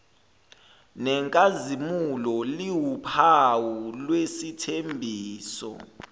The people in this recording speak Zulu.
nenkazimulo liwuphawu lwesithembiso